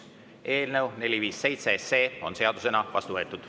Eelnõu 457 on seadusena vastu võetud.